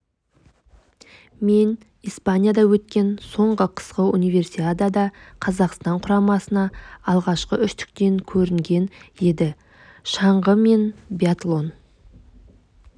мен испанияда өткен соңғы қысқы универсиадада қазақстан құрамасы алғашқы үштіктен көрінген еді шаңғы мен биатлон